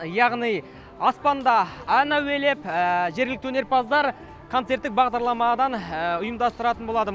яғни аспанда ән әуелеп жергілікті өнерпаздар концерттік бағдарламадан ұйымдастыратын болады